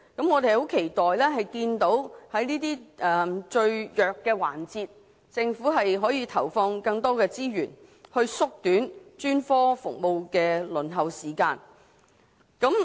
我們期待政府在這些最弱環節投放更多資源，縮短專科服務的輪候時間。